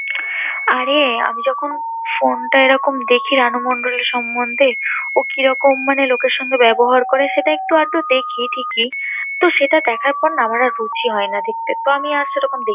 আরে! আমি যখন ফোনটা এরকম দেখি রানু মন্ডল এর সম্বন্ধে, ও কিরকম মানে লোকের সঙ্গে ব্যবহার করে, সেটা একটু আধটু দেখি ঠিকই, তো সেটা দেখার পর না আমার আর রুচি হয় না দেখতে তো আমি আর সেরকম দেখিনা